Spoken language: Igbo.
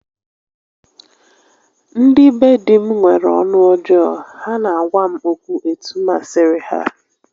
Ndị be di m nwere ọnụ ọjọọ, ha na-agwa m okwu etu masịrị ha